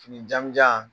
Fini jamujan